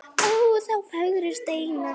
Ó þá fögru steina.